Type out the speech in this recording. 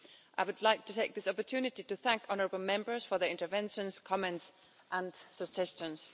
I would like to take this opportunity to thank honourable Members for their interventions, comments and suggestions.